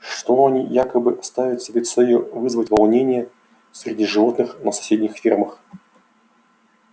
что они якобы ставят себе целью вызвать волнения среди животных на соседних фермах